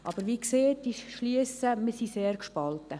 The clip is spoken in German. Aber wie gesagt: Wir sind sehr gespalten.